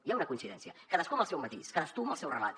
hi ha una coincidència cadascú amb el seu matís cadascú amb el seu relat